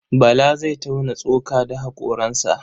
Bala zai tauna tsoka da haƙoransa.